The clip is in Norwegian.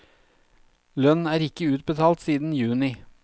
Lønn er ikke utbetalt siden juni.